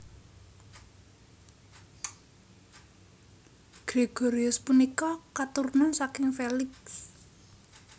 Gregorius punika katurunan saking Felix